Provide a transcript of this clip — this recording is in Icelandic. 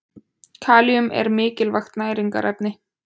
Kalíum er mikilvægt næringarefni.